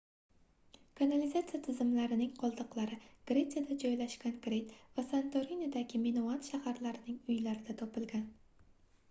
kanalizatsiya tizimlarining qoldiqlari gretsiyada joylashgan krit va santorinidagi minoan shaharlarining uylarida topilgan